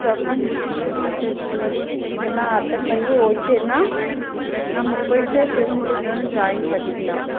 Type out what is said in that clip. exam லாம் முடிஞ்ச உடனே interview எல்லாம் attend பண்ணி okay ன்னா நம்ம போயிட்டு sem முடிஞ்ச உடனே join பண்ணிக்கலாம்